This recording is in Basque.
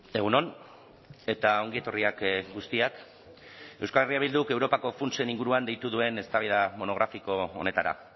egun on eta ongi etorriak guztiak euskal herria bilduk europako funtsen inguruan deitu duen eztabaida monografiko honetara